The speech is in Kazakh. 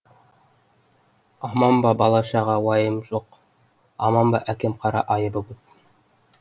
аман ба бала шаға уаймы жоқ аман ба әкім қара айыбы көп